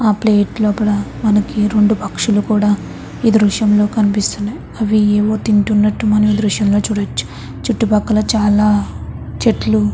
ఆ ప్లేట్ లోపల మనకు రెండు పక్షులు కూడా దృశ్యంలో కనిపిస్తూ ఉన్నవి. అవి ఏంటో తింటున్నట్టు ఈ దృశ్యం లో చూడవచ్చు. చుట్టుపక్కల చాలా చెట్లు --